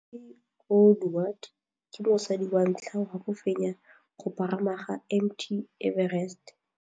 Cathy Odowd ke mosadi wa ntlha wa go fenya go pagama ga Mt Everest.